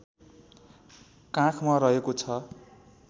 काखमा रहेको छ